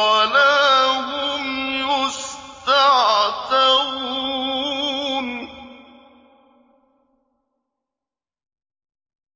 وَلَا هُمْ يُسْتَعْتَبُونَ